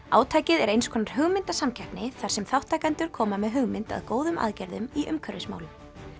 átakið er eins konar hugmyndasamkeppni þar sem þátttakendur koma með hugmynd að góðum aðgerðum í umhverfismálum